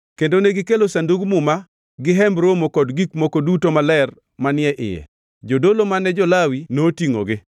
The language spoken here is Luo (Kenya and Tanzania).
kendo negikelo Sandug Muma gi Hemb Romo kod gik moko duto maler manie iye. Jodolo mane jo-Lawi notingʼogi;